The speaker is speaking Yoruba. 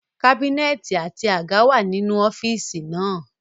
Kábínẹ̀tì àti àga wà nínú ọ́fíìsì náà